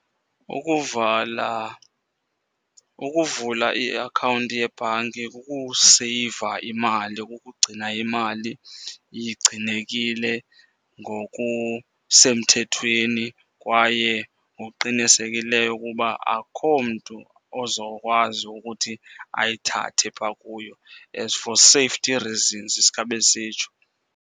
Ukuvala, ukuvula i-akhawunti yebhanki kukuseyiva imali, kukugcina imali igcinekile ngokusemthethweni kwaye ngokuqinisekileyo ukuba akho mntu ozokwazi ukuthi ayithathe phaa kuyo, as for safety reasons sikhabe sisitsho.